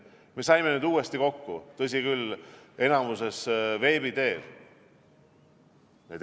Me saime nüüd uuesti kokku, tõsi küll, enamik meist osales veebi teel.